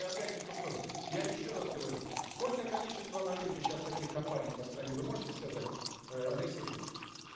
опять не в ту сторону я еще раз говорю сколько количество на рынке сейчас таких компаний по стране вы можете сказать э алексей дмитриевич